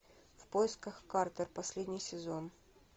в поисках картер последний сезон